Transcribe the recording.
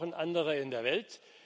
wir brauchen andere in der Welt.